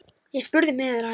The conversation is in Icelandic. Ég spurði miðil að því.